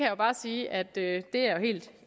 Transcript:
jo bare sige at det er jeg helt